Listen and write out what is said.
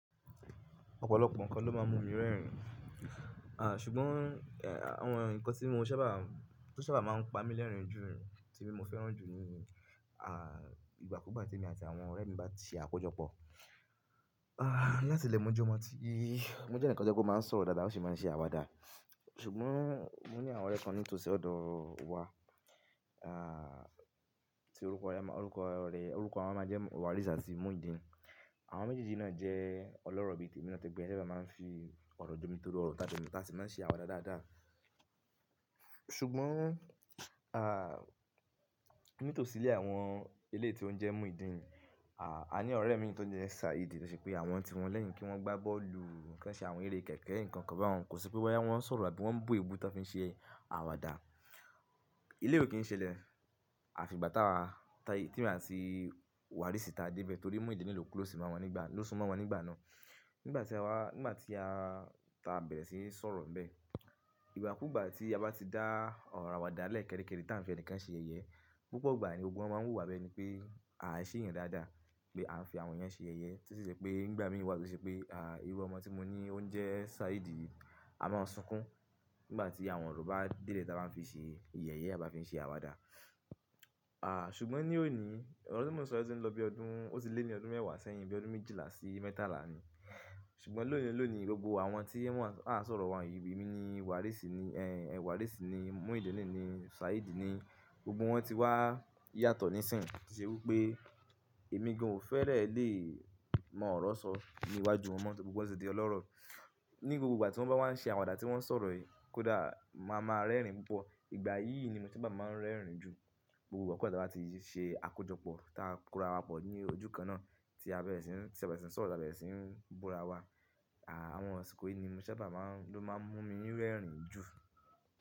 Ọ̀pọ̀lọpọ̀ nǹkan ló má ń mú mi rẹ́rìn, à ṣùgbọ́n eh àwọn nǹkan tí mo sábà, tó sábà má ń pa mí lẹ́rìn-ín jù tí mo fẹ́ràn jù ni à ìgbàkúùgbà tí èmi àti àwọn ọ̀rẹ́ mi bá ti akójọpọ̀. Ah láti ilẹ̀ mo jó má ti, mo je enikan tí ó má ń sọ̀rọ̀ dáadáa ó sì má ń se àwàdà. Ṣùgbọ́n mo ní àwọn ọ̀rẹ́ kan nítòsí ọ̀dọ̀ wa a ti orúkọ ya má orúkọ rẹ̀ orúkọ wọn máa jẹ́ Warisi àti Mujidin. Àwọn méjèèjì náà jẹ́ ọlọ́rọ̀ ìbí tèmi láti ìgbà tí a bá má ń fi ọ̀rọ̀ jomi tóro ọ̀rọ̀ tá de le tá sì má ń se àwàdà dáadáa. Ṣùgbọ́n a nítòsí ilé àwọn ilé tí ó ń jẹ́ Mujidin, a ní ọ̀rẹ́ mi tó jẹ́ Saidi tó ṣe pé àwọn ti wọn lẹ́yìn kí wọ́n gbá bọ́ọ̀lù kí wọ́n ṣe àwọn eré kẹ̀kẹ́ nǹkan kọ̀ bá wọn kò sí pé wọ́n yá wọ́n sọ̀rọ̀ àbí wọ́n bù ebu tí wọ́n fi ń ṣe àwàdà. Eleyi ò kí ń ṣe lẹ̀, àfi ìgbà tá wa tí èmi àti Warisi ta dé bẹ́ẹ̀ torí Mujidin ni o close mo won nígbà naa ló sún mo won nígbà náà. Nígbà tí àwa nígbà tí a ta bẹ̀rẹ̀ sí ní sọ̀rọ̀ bẹ́ẹ̀, ìgbàkúùgbà tí a bá ti dá ọ̀rọ̀ àwàdà lẹ́ẹ̀ kẹ́rikẹ́ri tá ǹ fi ẹnikan ṣe yẹ̀yẹ́, púpọ̀ ìgbà ni gbogbo wọ́n má ń wo wá bi eni pé à ṣe éyẹn dáadáa pé à ń fi àwọn yẹn ṣe yẹ̀yẹ́. Títí di pé nígbà mí wá tọ ṣe pé à irú ọmọ tí mo ní o n jẹ́ Saidi a máa sunkún nígbà tí àwọn ọ̀rọ̀ bá dé le tí a bá ń fi ṣe ìyẹ̀yẹ́ a bá fi ń ṣe àwàdà. À ṣùgbọ́n ní òní ọ̀rọ̀ tí mo sọ̀rọ̀ ti ń lọ bí ọdún ó ti lé ní ọdún mẹ́wàá sẹ́yìn bí ọdún méjìlá sí mẹ́tàlá ni. Ṣùgbọ́n lónìí lónìí gbogbo àwọn tí wọ́n a sọ̀rọ̀ won yii emi ni Warisi ni ẹ Warisi ni Mujidin ni Saidi ni gbogbo wọ́n ti wá yàtọ̀ nísìnyí. Tí ṣe wípé èmi gan ò fẹ́rẹ̀ lè mọ ọ̀rọ̀ sọ ní iwájú won mo tori gbogbo won ti di ọlọ́rọ̀. Ní gbogbo ìgbà tí wọ́n bá wá ń ṣe àwàdà tí wọ́n sọ̀rọ̀ kódà máa máa rẹ́rìn Ìgbà yìí ni mo sabá máa ń rẹ́rìn jù gbogbo igbakugba tí a bá ti ṣe akójọpọ̀ tá kóra wa pọ̀ ní ojú kan náà tí a bẹ̀rẹ̀ sí ń tí a bẹ̀rẹ̀ sí ń sọ̀rọ̀ tá bẹ̀rẹ̀ sí ń búra wa. À àwọn ọ̀síkò yìí ni mo sábà má ń ló má ń mú mi rẹ́rìn jù.